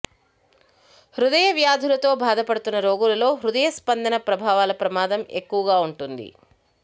హృదయ వ్యాధులతో బాధపడుతున్న రోగులలో హృదయ స్పందన ప్రభావాల ప్రమాదం ఎక్కువగా ఉంటుంది